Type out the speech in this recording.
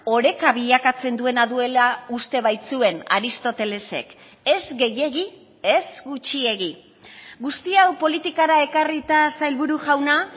oreka bilakatzen duena duela uste baitzuen aristótelesek ez gehiegi ez gutxiegi guzti hau politikara ekarrita sailburu jauna